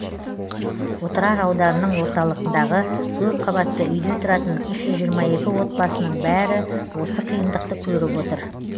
отырар ауданының орталығындағы көпқабатты үйде тұратын үш жүз жиырма екі отбасының бәрі осы қиындықты көріп отыр